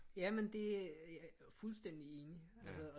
Jamen det fuldstændig enig altså og